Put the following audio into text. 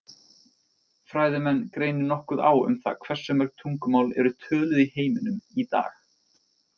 Fræðimenn greinir nokkuð á um það hversu mörg tungumál eru töluð í heiminum í dag.